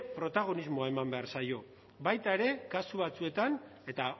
protagonismoa eman behar zaie baita ere kasu batzuetan eta